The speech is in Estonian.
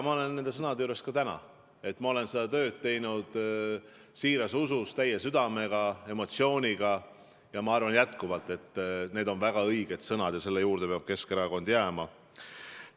Ma olen nende sõnade juures ka täna, ma olen seda tööd teinud siiras usus, kogu südamega, emotsiooniga ja arvan jätkuvalt, et need on väga õiged sõnad ja selle juurde peab Keskerakond jääma.